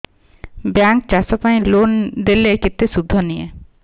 bank ଚାଷ ପାଇଁ loan ଦେଲେ କେତେ ସୁଧ ନିଏ